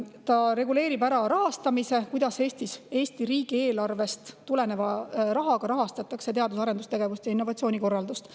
See reguleerib ära ka rahastamise, selle, kuidas Eesti riigieelarve rahaga rahastatakse teadus‑ ja arendustegevuse ning innovatsiooni korraldust.